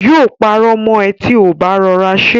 Yóò parọ́ mọ ẹ ti ò bá rọra ṣe